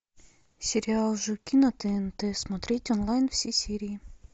сериал жуки на тнт смотреть онлайн все серии